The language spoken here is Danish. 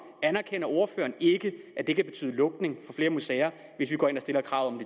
anerkender ordføreren ikke at det kan betyde lukning for flere museer hvis vi går ind og stiller krav